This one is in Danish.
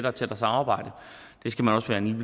og tættere samarbejde det skal man også være en